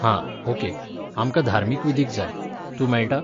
हां, ओके, आमकां धार्मीक विधीक जाय, तूं मेळटा?